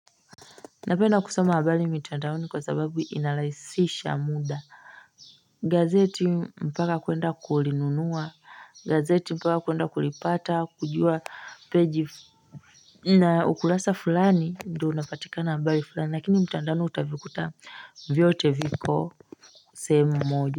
Napenda kusoma habari mitandaoni kwa sababu inalahisisha muda. Gazeti mpaka kuenda kulinunua, gazeti mpaka kuenda kulipata kujua peji na ukurasa fulani ndo unapatikana habari fulani, lakini mtandaoni utavikuta vyote viko sehemu moja.